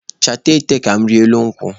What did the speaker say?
Chịta ete ka m rịa elu nkwụ!